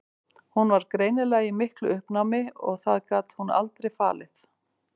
Hún var greinilega í miklu uppnámi en það gat hún aldrei falið.